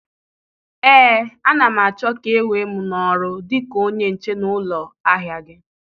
Ee, a na m achọ ka e wee m n'ọrụ dịka onye nche na ụlọ ahịa gị.